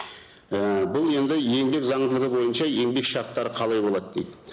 і бұл енді еңбек заңдылығы бойынша еңбек шарттары қалай болады дейді